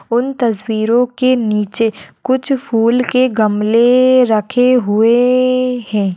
उन तस्वीरों के नीचे कुछ फूल के गमले रखे हुए है।